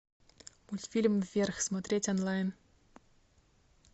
мультфильм вверх смотреть онлайн